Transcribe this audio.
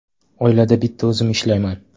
Oilada bitta o‘zim ishlayman.